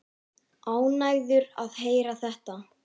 Ánægður að heyra þetta.